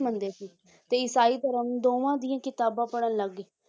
ਮੰਨਦੇ ਸੀ ਤੇ ਈਸਾਈ ਧਰਮ ਦੋਵਾਂ ਦੀਆਂ ਕਿਤਾਬਾਂ ਪੜ੍ਹਨ ਲੱਗ ਗਏ